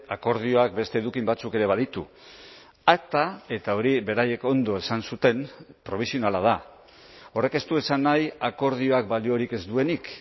akordioak beste eduki batzuk ere baditu akta eta hori beraiek ondo esan zuten probisionala da horrek ez du esan nahi akordioak baliorik ez duenik